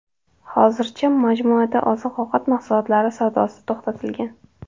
Hozircha majmuada oziq-ovqat mahsulotlari savdosi to‘xtatilgan.